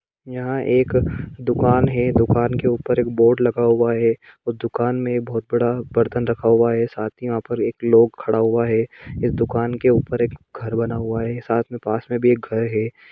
यहाँ एक दुकान है दुकान के ऊपर एक बोर्ड लगा हुआ है और दुकान में बहुत बड़ा बर्तन रखा हुआ है साथ ही यहाँ पर एक लोग खड़ा हुआ है इस दुकान के ऊपर एक घर बना हुआ है साथ में पास में भि एक घर है ।